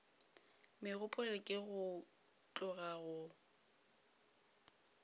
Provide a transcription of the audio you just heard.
megopolo ke go tloga go